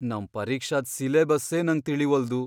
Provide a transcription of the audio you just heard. ನಮ್ ಪರೀಕ್ಷಾದ್ ಸಿಲೆಬಸ್ಸೇ ನಂಗ್ ತಿಳೀವಲ್ದು.